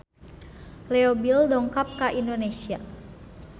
Leo Bill dongkap ka Indonesia